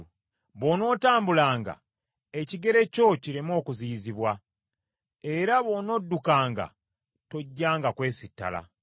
Bw’onootambulanga, ekigere kyo kireme okuziyizibwa; era bw’onoddukanga, tojjanga kwesittala.